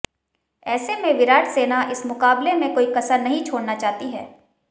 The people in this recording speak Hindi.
ऐसे में विराट सेना इस मुकाबले में कोई कसर नहीं छोड़ना चाहती है